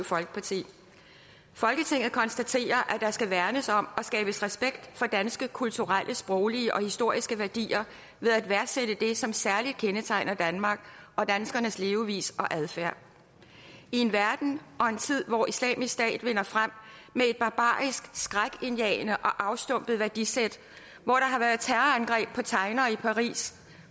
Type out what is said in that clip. folketinget konstaterer at der skal værnes om og skabes respekt for danske kulturelle sproglige og historiske værdier ved at værdsætte det som særlig kendetegner danmark og danskernes levevis og adfærd i en verden og en tid hvor islamisk stat vinder frem med et barbarisk skrækindjagende og afstumpet værdisæt hvor der har været terrorangreb på tegnere i paris